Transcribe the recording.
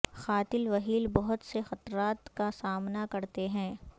قاتل وہیل بہت سے خطرات کا سامنا کرتے ہیں